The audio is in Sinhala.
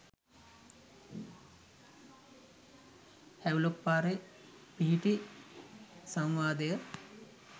හැව්ලොක් පාරේ පිහිටි සංවාදය